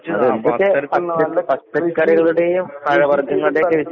അതെന്തൊക്കെ പച്ചക്കറികളുടേയും പഴവർഗ്ഗങ്ങള്ടേക്കെ